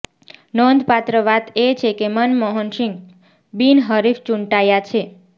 નોંધપાત્ર વાત એ છે કે મનમોહન સિંહ બિનહરીફ ચૂંટાયા છે